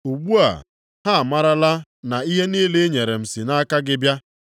Ugbu a, ha amarala na ihe niile i nyere m si nʼaka gị bịa.